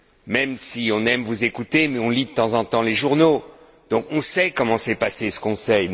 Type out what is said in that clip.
Même si on aime vous écouter, on lit de temps en temps les journaux, donc on sait comment s'est passé ce Conseil.